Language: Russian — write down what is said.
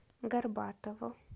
горбатову